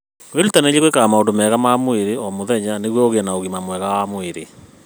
Wĩrutanĩrie gwĩkaga maũndũ ma mwĩrĩ o mũthenya nĩguo ũgĩe na ũgima mwega wa mwĩrĩ.